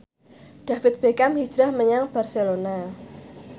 David Beckham hijrah menyang Barcelona